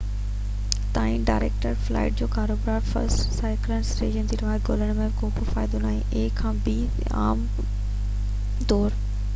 عام ڳالهه طور a کان b تائين ڊائريڪٽ فلائيٽ تي ڪاروبار يا فرسٽ ڪلاس سيٽن لاءِ رعايت ڳولڻ جو ڪو به فائدو ناهي